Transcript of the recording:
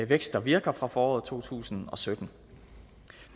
vækst der virker fra foråret to tusind og sytten